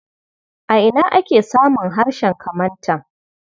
A ina ake samun harshen Kamantan?